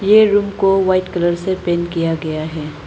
ये रूम को white colour से पेंट किया गया है।